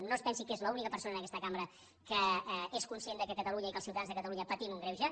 no es pensi que és l’única persona en aquesta cambra que és conscient que catalunya i que els ciutadans de catalunya patim un greuge